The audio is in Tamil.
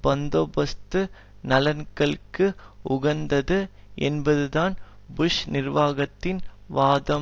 பந்தோபஸ்து நலன்களுக்கு உகந்தது என்பதுதான் புஷ் நிர்வாகத்தின் வாதம்